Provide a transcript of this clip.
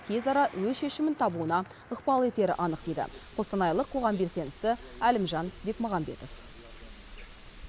тез ара өз шешімін табуына ықпал етері анық дейді қостанайлық қоғам белсендісі әлімжан бекмағамбетов